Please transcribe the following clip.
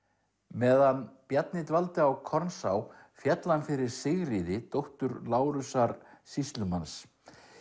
meðan Bjarni dvaldi á féll hann fyrir Sigríði dóttur Lárusar sýslumanns